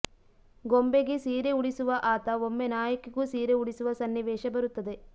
ಗೊಂಬೆಗೆ ಸೀರೆ ಉಡಿಸುವ ಆತ ಒಮ್ಮೆ ನಾಯಕಿಗೂ ಸೀರೆ ಉಡಿಸುವ ಸನ್ನಿವೇಶ ಬರುತ್ತದೆ